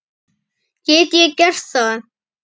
Get ég gert það?